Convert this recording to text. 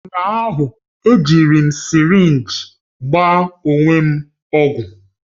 Ụnyahụ, ejiri m sirinji gbaa onwe m ọgwụ.